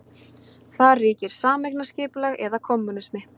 Þar ríkir sameignarskipulag eða kommúnismi.